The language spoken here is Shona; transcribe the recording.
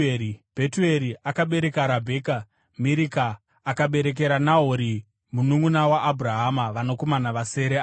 Bhetueri akabereka Rabheka. Mirika akaberekera Nahori mununʼuna waAbhurahama vanakomana vasere ava.